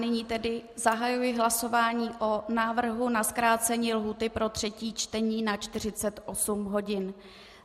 Nyní tedy zahajuji hlasování o návrhu na zkrácení lhůty pro třetí čtení na 48 hodin.